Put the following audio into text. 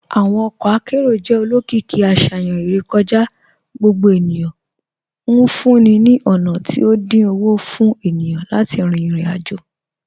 Awọn ọkọ akẹrọ̀ jẹ́ olókììkí àṣayàn irèkọ̀já gbogbo ènìyàn, nfúǹní ní ọ̀na tí o dín ọwọ́ fún ènìyàn láti rin irò-ajò.